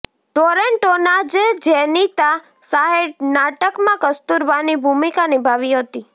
ટોરેન્ટોના જ જેનિતા શાહે નાટકમાં કસ્તુરબાની ભૂમિકા નિભાવી હતી